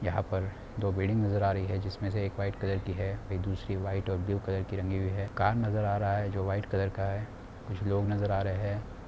यहाँ पर दो बिल्डिंग नजर आ रही है जिसमे से एक व्हाइट कलर की है। दूसरी व्हाइट और ब्लू कलर की रंगी हुई है। कार नजर आ रहा है जो व्हाइट कलर का है। कुछ लोग नजर आ रहे है।